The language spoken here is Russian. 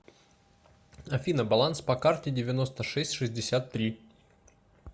афина баланс по карте девяносто шесть шестьдесят три